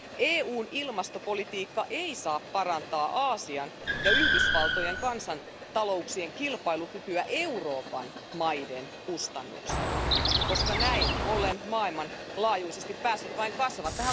EUn ilmastopolitiikka ei saa parantaa Aasian ja Yhdysvaltojen kansantalouksien kilpailukykyä Euroopan maiden kustannuksella, koska näin ollen maailmanlaajuisesti päästöt vain kasvavat.